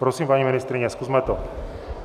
Prosím, paní ministryně, zkusme to.